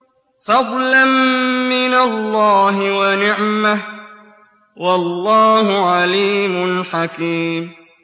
فَضْلًا مِّنَ اللَّهِ وَنِعْمَةً ۚ وَاللَّهُ عَلِيمٌ حَكِيمٌ